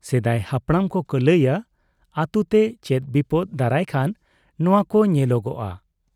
ᱥᱮᱫᱟᱭ ᱦᱟᱯᱲᱟᱢ ᱠᱚᱠᱚ ᱞᱟᱹᱭ ᱟ ᱟᱹᱛᱩᱛᱮ ᱪᱮᱫ ᱵᱤᱯᱚᱫᱽ ᱫᱟᱨᱟᱭ ᱠᱷᱟᱱ ᱱᱚᱣᱟ ᱠᱚ ᱧᱮᱞᱚᱜᱚᱜ ᱟ ᱾